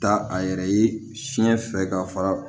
Da a yɛrɛ ye fiɲɛ fɛ ka fara